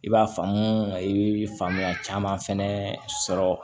I b'a faamu i bɛ faamuya caman fɛnɛ sɔrɔ